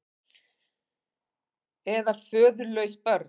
Eða föðurlaus börn.